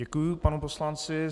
Děkuji panu poslanci.